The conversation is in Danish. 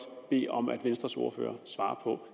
bede om at venstres ordfører svarer på